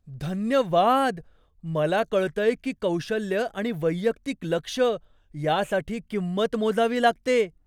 धन्यवाद! मला कळतंय की कौशल्य आणि वैयक्तिक लक्ष यासाठी किंमत मोजावी लागते.